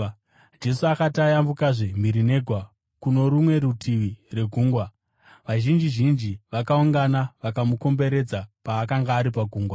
Jesu akati ayambukazve mhiri negwa kuno rumwe rutivi rwegungwa, vazhinji zhinji vakaungana vakamukomberedza paakanga ari pagungwa.